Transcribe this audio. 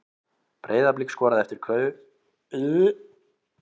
Breiðablik skoraði eftir klaufaleg mistök í vörn Stjörnunnar.